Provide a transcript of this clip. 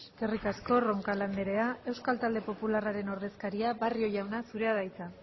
eskerrik asko roncal andrea euskal talde popularraren ordezkaria barrio jauna zurea da hitza